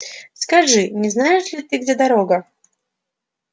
скажи не знаешь ли где дорога